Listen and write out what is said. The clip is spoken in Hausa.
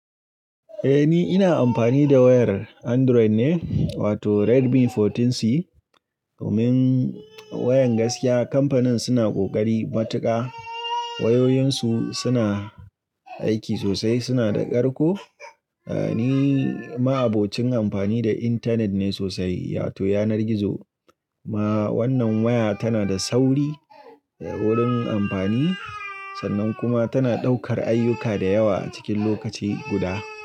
Eh ni ina amfani da wayar Android ne wato Redmi 14C domin wayan gaskiya kamfanin suna kokari matuƙa. Wayoyinsu suna aiki sosai, suna da ƙarko. Ni ma'abocin amfani da intanet ne sosai, wato yanar gizo kuma wannan waya tana da sauri wurin amfani sannan kuma tana ɗaukar ayyuka da yawa cikin lokaci guda.